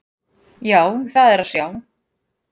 Já, það er að sjá.